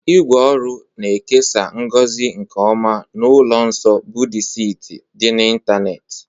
ígwè ọrụ na-ekesa ngozi nke ọma n'ụlọ nsọ Buddisiti dị n'ịntanetị.